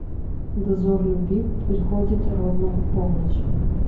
дозор любви приходит ровно в полночь